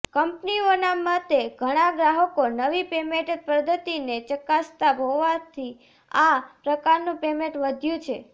કંપનીઓના મતે ઘણા ગ્રાહકો નવી પેમેન્ટ પદ્ધતિને ચકાસતા હોવાથી આ પ્રકારનું પેમેન્ટ વધ્યું છે